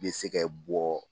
Bɛ se ka bɔ